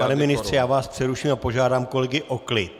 Pane ministře, já vás přeruším a požádám kolegy o klid.